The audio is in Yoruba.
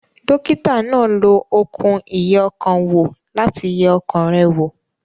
Dókítà náà lo okùn ìyẹ ọkàn wò láti yẹ ọkàn rẹ̀ wò